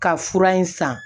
Ka fura in san